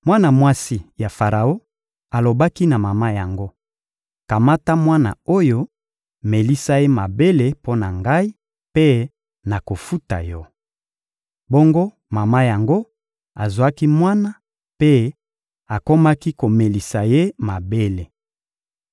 Mwana mwasi ya Faraon alobaki na mama yango: «Kamata mwana oyo, melisa ye mabele mpo na ngai, mpe nakofuta yo.» Bongo mama yango azwaki mwana mpe akomaki komelisa ye mabele.